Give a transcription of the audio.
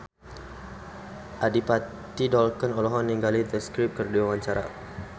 Adipati Dolken olohok ningali The Script keur diwawancara